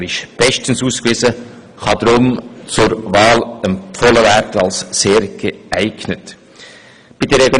Er ist bestens ausgewiesen und kann deshalb als sehr geeignet zur Wahl empfohlen werden.